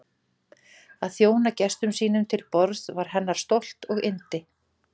Að þjóna gestum sínum til borðs var hennar stolt og yndi.